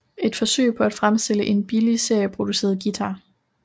Et forsøg på at fremstille en billig serieproduceret guitar